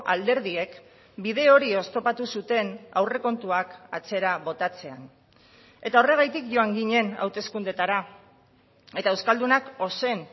alderdiek bide hori oztopatu zuten aurrekontuak atzera botatzean eta horregatik joan ginen hauteskundeetara eta euskaldunak ozen